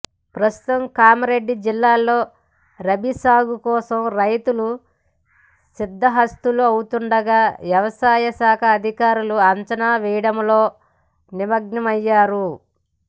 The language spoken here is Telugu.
ప్రస్తుతం కామారెడ్డి జిల్లాలో రబి సాగు కోసం రైతులు సిద్దహస్తులు అవుతుండగా వ్యవసాయ శాఖ అధికారులు అంచనాలు వేయడంలో నిమగ్నమయ్యారు